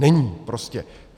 Není prostě.